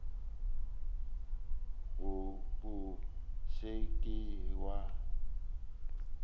go bot se ke wa